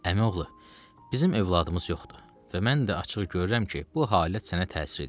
Əmioğlu, bizim övladımız yoxdur və mən də açıq görürəm ki, bu halət sənə təsir eləyir.